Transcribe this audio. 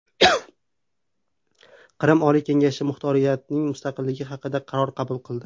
Qrim Oliy kengashi muxtoriyatning mustaqilligi haqida qaror qabul qildi.